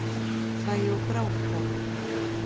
Hlæja og gráta.